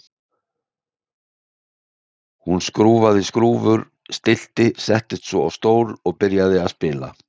Hún skrúfaði skrúfur og stillti, settist svo á stól og byrjaði að spila.